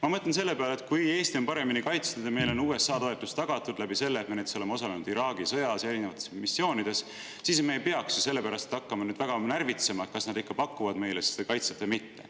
Ma mõtlen, et kui Eesti on paremini kaitstud ja meile on USA toetus tagatud seetõttu, et me oleme osalenud näiteks Iraagi sõjas ja erinevatel missioonidel, siis me ei peaks hakkama nüüd väga närvitsema, kas nad pakuvad meile kaitset või mitte.